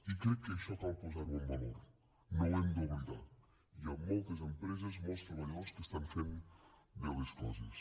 i crec que això cal posar ho en valor no ho hem d’oblidar hi han moltes empreses molts treballadors que estan fent bé les coses